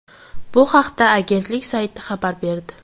Bu haqda agentlik sayti xabar berdi .